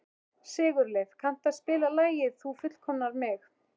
Sigurleif, kanntu að spila lagið „Þú fullkomnar mig“?